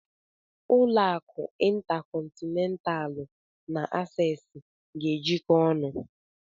Ụlọ akụ Intacọntinentalụ na Asees ga-ejiko ọnụ.